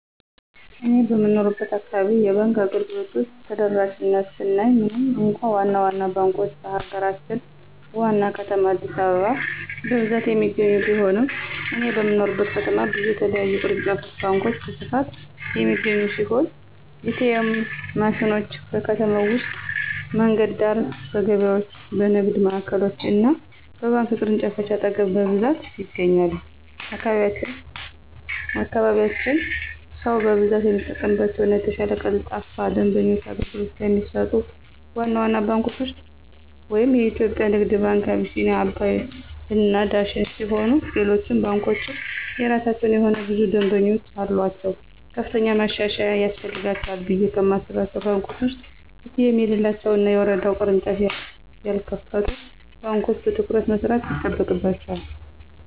እኔ በምኖርበት አካባቢ የባንክ አገልግሎቶች ተደራሽነት ስናይ ምንም እንኳ ዋና ዋና ባንኮች በሀገራችን ዋና ከተማ አዲስአበባ በብዛት የሚገኙ ቢሆንም እኔ በምኖርበት ከተማ ብዙ የተለያዩ ቅርንጫፍ ባንኮች በስፋት የሚገኙ ሲሆን: ኤ.ቲ.ኤም ማሽኖች: በከተማ ውስጥ በመንገድ ዳር፣ በገበያዎች፣ በንግድ ማዕከሎች እና በባንክ ቅርንጫፎች አጠገብ በብዛት ይገኛሉ። በአካባቢያችን ሰው በብዛት የሚጠቀምባቸው እና የተሻለ ቀልጣፋ የደንበኞች አገልግሎት ከሚሰጡት ዋና ዋና ባንኮች ውስጥ (የኢትዮጽያ ንግድ ባንክ፣ አቢሲኒያ፣ አባይ እና ዳሽን ሲሆኑ ሌሎች ባንኮችም የየራሳቸው የሆነ ብዙ ደምበኞች አሉአቸው። ከፍተኛ ማሻሻያ ያስፈልጋቸዋል ብየ ከማስባቸው ባንኮች ውስጥ ኤ.ቲ.ኤም የሌላቸው እና በየወረዳው ቅርንጫፍ ያልከፈቱ ባንኮች በትኩረት መስራት ይጠበቅባቸዋል።